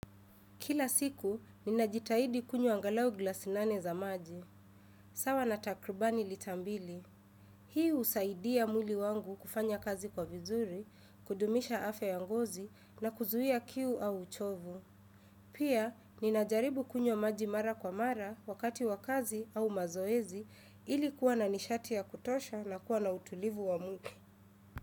Kila siku, ninajitahidi kunywa angalau glasi nane za maji. Sawa na takribani lita mbili. Hii husaidia mwili wangu kufanya kazi kwa vizuri, kudumisha afya ya ngozi na kuzuia kiu au uchovu. Pia, ninajaribu kunywa maji mara kwa mara wakati wa kazi au mazoezi ili kuwa na nishati ya kutosha na kuwa na utulivu wa mwili.